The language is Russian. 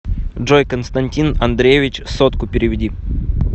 джой константин андреевич сотку переведи